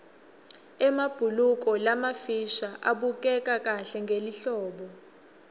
emabhuluko lamafisha abukeka kahle ngelihlobo